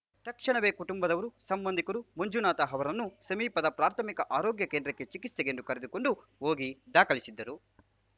ತಕ್ಷಣವೇ ಕುಟುಂಬದವರು ಸಂಬಂಧಿಕರು ಮಂಜುನಾಥ ಅವರನ್ನು ಸಮೀಪದ ಪ್ರಾಥಮಿಕ ಆರೋಗ್ಯ ಕೇಂದ್ರಕ್ಕೆ ಚಿಕಿತ್ಸೆಗೆಂದು ಕರೆದುಕೊಂಡು ಹೋಗಿ ದಾಖಲಿಸಿದ್ದರು